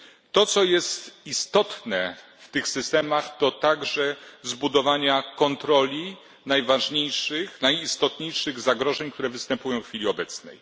To co jest istotne w tych systemach, to także zapewnienie kontroli najważniejszych, najistotniejszych zagrożeń, które występują w chwili obecnej.